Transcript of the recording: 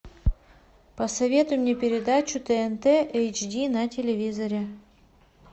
посоветуй мне передачу тнт эйч ди на телевизоре